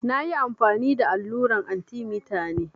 Na ƴi amfani da alluran arthemeter ne.